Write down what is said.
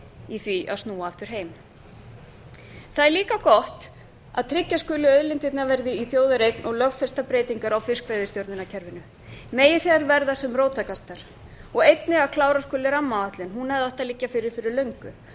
í því að snúa aftur heim það er líka gott að tryggja skuli að auðlindirnar verði í þjóðareign og lögfesta breytingar á fiskveiðistjórnarkerfinu megi þær verða sem róttækastar og einnig að klára skuli rammaáætlun hún hefði átt að liggja fyrir fyrir